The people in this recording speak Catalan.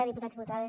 diputats diputades